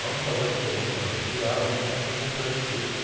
Vamos fazer as colunas, a gente tira a água, a gente entra com o concreto seco.